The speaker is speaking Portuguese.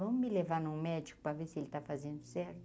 Vamos me levar num médico para ver se ele está fazendo certo.